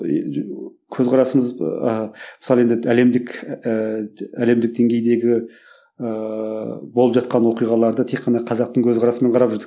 көзқарасымыз ыыы мысалы енді әлемдік ііі әлемдік деңгейдегі ыыы болып жатқан оқиғаларды тек қана қазақтың көзқарасымен қарап жүрдік